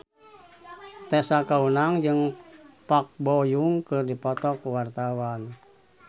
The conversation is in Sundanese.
Tessa Kaunang jeung Park Bo Yung keur dipoto ku wartawan